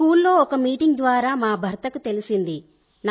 స్కూల్లో ఒక మీటింగ్ ద్వారా మా భర్తకు తెలిసింది